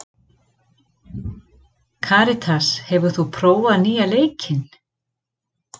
Karitas, hefur þú prófað nýja leikinn?